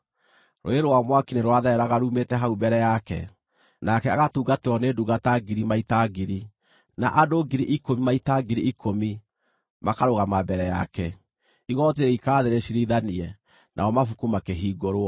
Rũũĩ rwa mwaki nĩ rwathereraga ruumĩte hau mbere yake. Nake agatungatĩrwo nĩ ndungata ngiri maita ngiri; na andũ ngiri ikũmi maita ngiri ikũmi makarũgama mbere yake. Igooti rĩgĩikara thĩ rĩciirithanie, namo mabuku makĩhingũrwo.